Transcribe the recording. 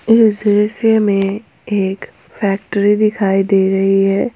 इस दृश्य में एक फैक्ट्री दिखाई दे रहीं हैं।